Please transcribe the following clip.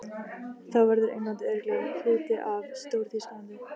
Þá verður England örugglega hluti af Stór-Þýskalandi.